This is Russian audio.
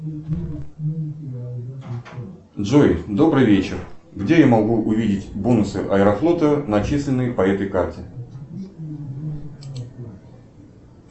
джой добрый вечер где я могу увидеть бонусы аэрофлота начисленные по этой карте